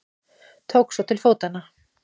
Tóku svo til fótanna.